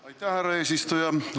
Aitäh, härra eesistuja!